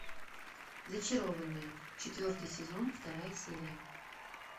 зачарованные четвертый сезон вторая серия